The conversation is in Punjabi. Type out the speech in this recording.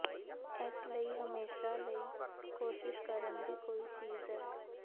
ਇਸ ਲਈ ਹਮੇਸ਼ਾ ਲਈ ਕੋਸ਼ਿਸ਼ ਕਰਨ ਦੀ ਕੋਈ ਚੀਜ਼ ਹੈ